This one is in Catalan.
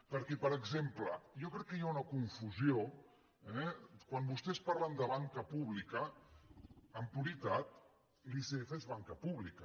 perquè per exemple jo crec que hi ha una confusió eh quan vostès parlen de banca pública en puritat l’icf és banca pública